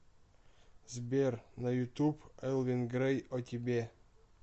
сбер на ютуб элвин грей о тебе